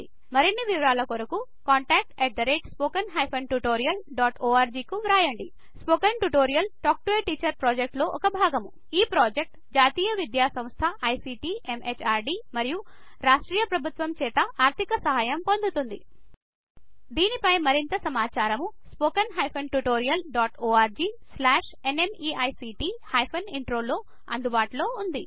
మరిన్ని వివరాలకు contactspoken tutorialorg కు వ్రాయండి spoken tutorials project talk to a teacher project లొ ఒక భాగము ఈ ప్రాజెక్ట్ జాతీయ విద్యాసంస్థ ictఎంహార్డీ మరియు రాష్ర్టీయ ప్రభుత్వం చేత ఆర్థిక సహయం పొందుతుంది దీనిపై మరింత సమాచారం spoken tutorialorgnmeict ఇంట్రో లో అందుబాటులో ఉంది